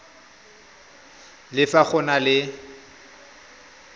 le fa go na le